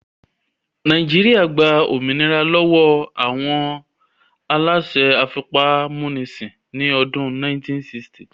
Nàìjíríyà gba òmìnira lọ́wọ́ àwọn aláṣẹ afipámúnisìn ní ọdún 1960